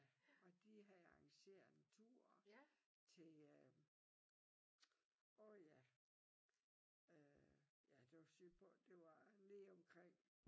Ja og de havde arrangeret en tur til øh åh ja øh ja det var sydpå det var nede omkring